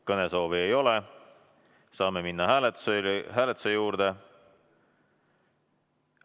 Kõnesoove ei ole, saame minna hääletuse juurde.